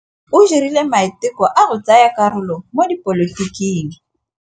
O dirile maitekô a go tsaya karolo mo dipolotiking.